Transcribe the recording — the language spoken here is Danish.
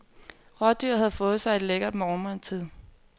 Rådyret havde fået sig et lækkert morgenmåltid.